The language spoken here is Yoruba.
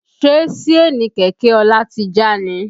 Ṣe Síènì kẹ̀kẹ́ Ọlá ti já ni?